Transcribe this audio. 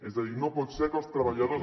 és a dir no pot ser que els treballadors